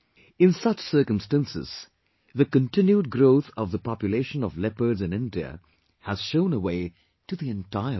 In such circumstances, the continued growth of the population of leopards in India has shown a way to the entire world